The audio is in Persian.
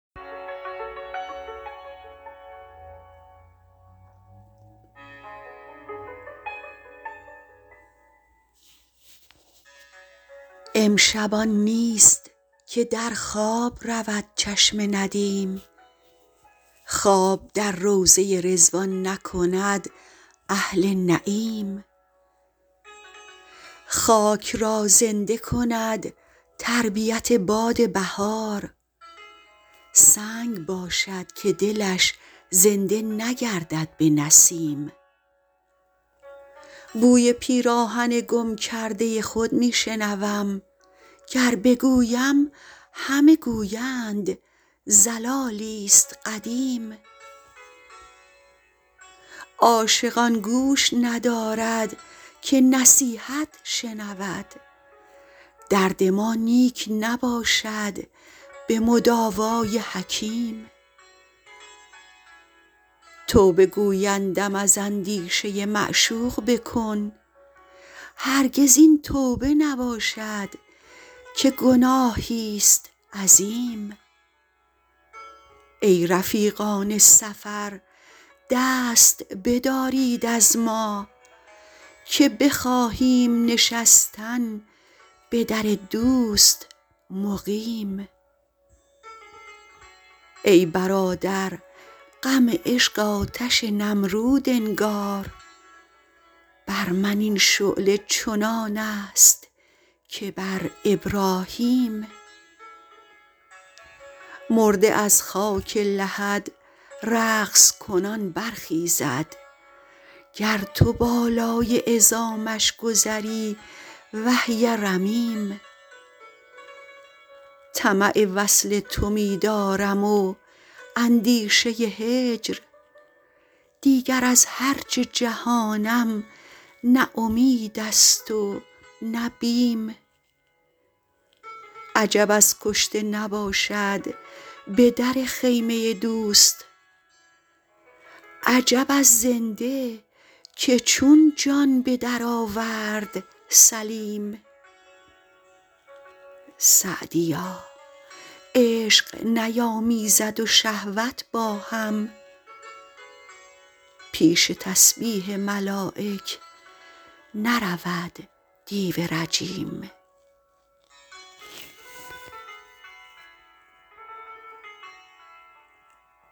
امشب آن نیست که در خواب رود چشم ندیم خواب در روضه رضوان نکند اهل نعیم خاک را زنده کند تربیت باد بهار سنگ باشد که دلش زنده نگردد به نسیم بوی پیراهن گم کرده خود می شنوم گر بگویم همه گویند ضلالی ست قدیم عاشق آن گوش ندارد که نصیحت شنود درد ما نیک نباشد به مداوا ی حکیم توبه گویندم از اندیشه معشوق بکن هرگز این توبه نباشد که گناهی ست عظیم ای رفیقان سفر دست بدارید از ما که بخواهیم نشستن به در دوست مقیم ای برادر غم عشق آتش نمرود انگار بر من این شعله چنان است که بر ابراهیم مرده از خاک لحد رقص کنان برخیزد گر تو بالای عظامش گذری وهی رمیم طمع وصل تو می دارم و اندیشه هجر دیگر از هر چه جهانم نه امید است و نه بیم عجب از کشته نباشد به در خیمه دوست عجب از زنده که چون جان به درآورد سلیم سعدیا عشق نیامیزد و شهوت با هم پیش تسبیح ملایک نرود دیو رجیم